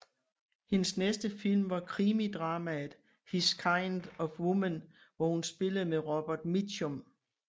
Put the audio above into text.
Hendes næste film var krimidramaet His kind of Woman hvor hun spillede med Robert Mitchum